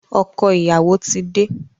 Ọkọ̀ ìyàwó ti dé.